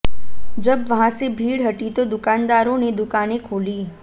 जब वहां से भीड़ हटी तो दुकानदारों ने दुकानें खोली